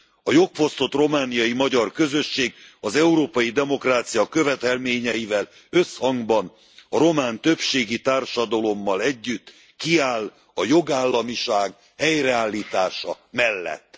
A jogfosztott romániai magyar közösség az európai demokrácia követelményeivel összhangban, a román többségi társadalommal együtt kiáll a jogállamiság helyreállítása mellett.